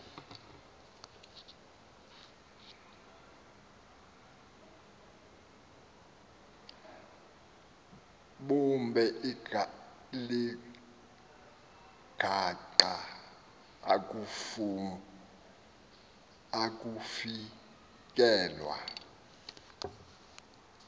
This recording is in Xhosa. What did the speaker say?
bube ligaqa akufikelwa